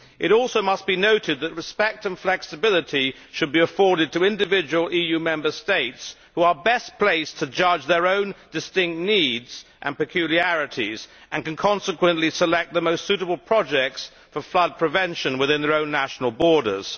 It also must be noted that respect and flexibility should be afforded to individual EU Member States who are best placed to judge their own distinct needs and peculiarities and can consequently select the most suitable projects for flood prevention within their own national borders.